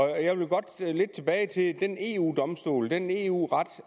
jeg vil godt lidt tilbage til den eu domstol den eu ret